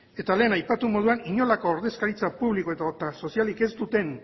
eta lehen aipatu moduan inolako ordezkaritza publiko edota sozialik ez duten